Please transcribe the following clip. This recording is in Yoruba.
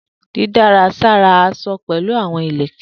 Didárà sára aṣọ pẹlu awọn ilẹkẹ.